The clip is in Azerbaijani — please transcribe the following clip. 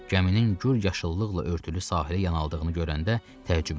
Gəminin gur yaşıllıqla örtülü sahilə yan aldığını görəndə təəccübləndi.